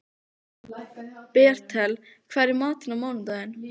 Bertel, hvað er í matinn á mánudaginn?